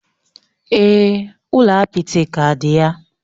Èè, ụlọ apịtị ka dị ya.